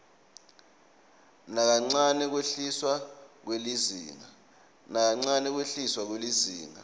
nakancane kwehliswa kwelizinga